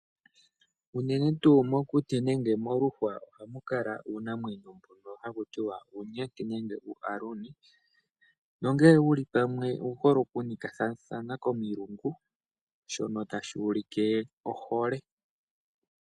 Unene tuu mokuti nenge moluhwa ohamu kala uunamwenyo mbono hakutiwa uunyenti nenge uuhaluni. Nongele wuli pamwe owu hole oku nikathathana komilungu shono tashi ulike ohole.